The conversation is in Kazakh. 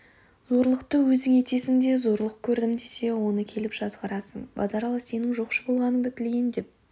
зорлықты өзің етесің де зорлық кәрдім десе оны келіп жазғырасың базаралы сенің жоқшы болғанынды тілейін деп